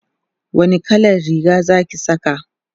wani kallan Riga Zaki Saka?